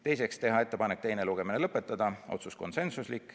Teiseks, teha ettepanek teine lugemine lõpetada, jälle otsus konsensuslik.